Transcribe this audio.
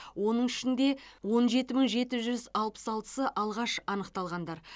оның ішінде он жеті мың жеті жүз алпыс алтысы алғаш анықталғандар